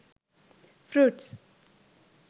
fruits